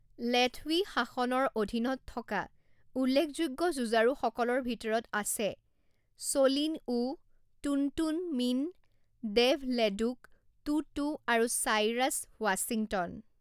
লেথৱি শাসনৰ অধীনত থকা উল্লেখযোগ্য যুঁজাৰুসকলৰ ভিতৰত আছে Soe' Lin Oo, Tun Tun Min, Dave Leduc, Too Too আৰু চাইৰাছ ৱাশ্বিংটন।